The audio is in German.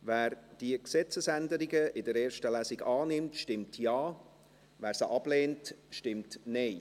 Wer diese Gesetzesänderungen in der ersten Lesung annimmt, stimmt Ja, wer diese ablehnt, stimmt Nein.